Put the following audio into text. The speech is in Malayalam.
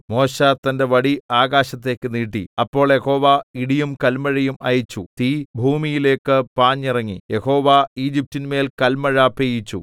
മോശെ തന്റെ വടി ആകാശത്തേക്ക് നീട്ടി അപ്പോൾ യഹോവ ഇടിയും കല്മഴയും അയച്ചു തീ ഭൂമിയിലേക്ക് പാഞ്ഞിറങ്ങി യഹോവ ഈജിപ്റ്റിന്മേൽ കല്മഴ പെയ്യിച്ചു